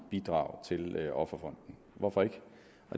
bidrage til offerfonden hvorfor ikke